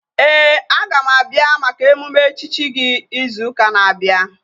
Ee, aga m abịa maka emume echichi gị izu ụka na-abịa